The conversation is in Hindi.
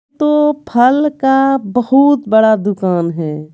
तो फल का बहुत बड़ा दुकान है।